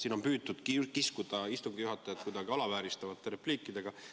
Siin on püütud kiskuda istungi juhatajat kuidagi alavääristavate repliikidega.